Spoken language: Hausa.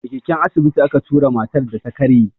A keken asibiti a ka tura matar da ta karye.